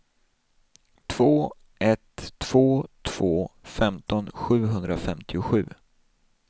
två ett två två femton sjuhundrafemtiosju